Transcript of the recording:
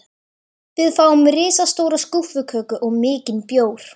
Við fáum risastóra skúffuköku og mikinn bjór.